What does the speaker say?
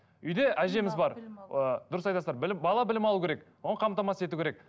үйде әжеміз бар ы дұрыс айтасыздар білім бала білім алу керек оған қамтамасыз ету керек